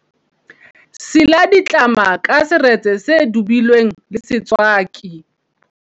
sila ditlama ka seretse se dubilweng le setswaki